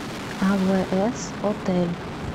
авээс отель